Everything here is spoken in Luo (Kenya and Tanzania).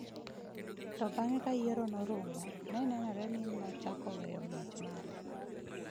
To bang’ ka yiero norumo, ne nenore ni nochako weyo ng’wech mare.